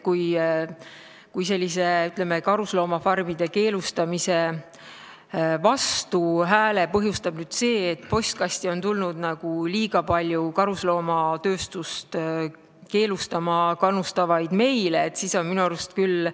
Kui vastuhääle karusloomafarmide keelustamisele põhjustab see, et postkasti on tulnud liiga palju karusnahatööstust keelustama kannustavaid meile, siis on see minu arust küll ...